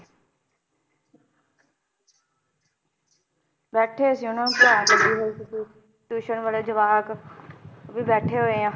ਬੈਠੇ ਸੀ ਉਹਨਾਂ ਨੂੰ ਪੜ੍ਹਾਉਣ ਲੱਗੀ ਹੋਏ ਸੀਗੇ tuition ਵਾਲੇ ਜਵਾਕ ਵੀ ਬੈਠੇ ਹੋਏ ਆ